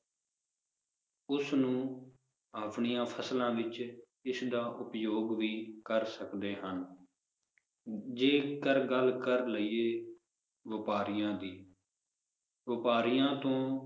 ਉਸ ਨੂੰ ਆਪਣੀਆਂ ਫਸਲਾਂ ਵਿਚ ਇਸ ਦਾ ਉਪਯੋਗ ਵੀ ਕਰ ਸਕਦੇ ਹਨ ਜੇਕਰ ਗੱਲ ਕਰ ਲਇਏ ਵਪਾਰੀਆਂ ਦੀ ਵਪਾਰੀਆਂ ਤੋਂ